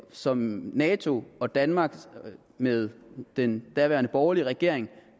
som nato og danmark med den daværende borgerlige regering